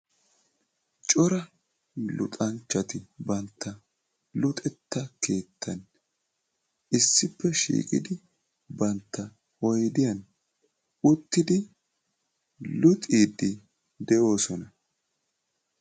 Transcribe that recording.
Cora luxanchchati bantta luxetta keettan issippe shiiqidi bantta oydiyan uttidi luxiiddi de'oosona.